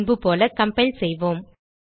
முன்பு போல கம்பைல் செய்வோம்